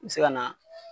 N bɛ se ka na